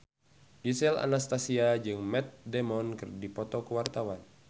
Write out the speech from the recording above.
Gisel Anastasia jeung Matt Damon keur dipoto ku wartawan